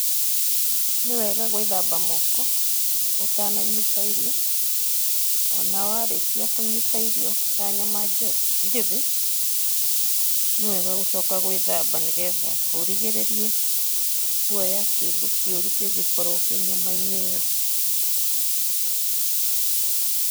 Nĩ wega gwĩthamba moko, ũtananyita irio, o na warĩkia kũnyita irio, ta nyama njĩthĩ, nĩ wega gũcoka gwĩthamba nĩ getha, ũrigĩrĩrie kuoya kĩndũ kĩũru, kĩngĩkorwo kĩ nyama-inĩ ĩo